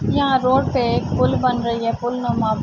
یہاں پر ایک پول بن رہی ہے پول--